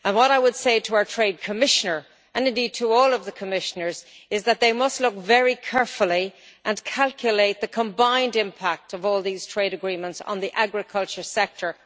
What I would say to our Trade Commissioner, and indeed to all of the Commissioners, is that they must look very carefully and calculate the combined impact of all these trade agreements on the agriculture sector.